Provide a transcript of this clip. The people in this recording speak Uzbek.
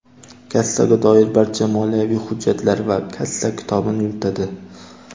Kassaga doir barcha moliyaviy hujjatlar va kassa kitobini yuritadi.